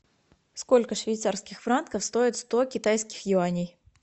сколько швейцарских франков стоит сто китайских юаней